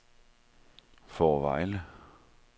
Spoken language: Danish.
Fårevejle